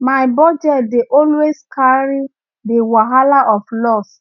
my budget dey always carry the wahala of loss